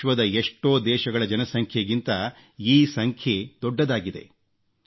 ವಿಶ್ವದ ಎಷ್ಟೋ ದೇಶಗಳ ಜನಸಂಖ್ಯೆಗಿಂತ ಈ ಸಂಖ್ಯೆ ದೊಡ್ಡದಾಗಿದೆ